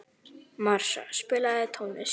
Marsa, spilaðu tónlist.